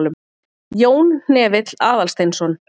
Jón Hnefill Aðalsteinsson.